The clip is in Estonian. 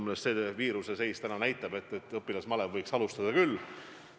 Meie seis täna näitab, et õpilasmalev võiks alustada küll.